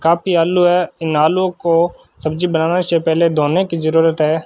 काफी आलू है। इन आलुओं को सब्जी बनाने से पहली धोने की जरूरत है।